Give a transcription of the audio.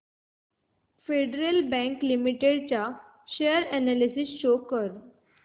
federal bank limited share analysis show कर